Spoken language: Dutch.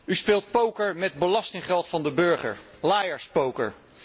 U speelt poker met belastinggeld van de burger, liar's poker.